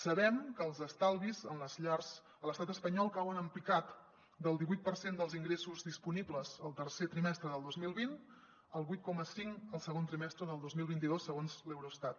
sabem que els estalvis en les llars a l’estat espanyol cauen en picat del divuit per cent dels ingressos disponibles el tercer trimestre del dos mil vint al vuit coma cinc el segon trimestre del dos mil vint dos segons l’eurostat